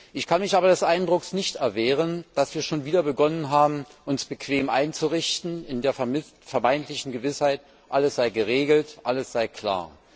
Ich kann mich aber des Eindrucks nicht erwehren, dass wir schon wieder begonnen haben, uns bequem einzurichten in der vermeintlichen Gewissheit, alles sei geregelt, alles sei klar.